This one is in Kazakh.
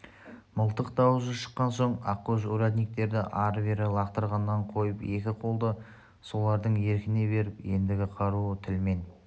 мылтық дауысы шыққан соң ақкөз урядниктерді ары-бері лақтырғанын қойып екі қолды солардың еркіне беріп ендігі қаруы тіл мен